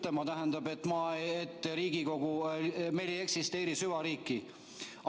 Tuldagu veel ütlema, et meil ei eksisteeri süvariiki!